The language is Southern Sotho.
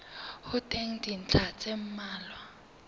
ho teng dintlha tse mmalwa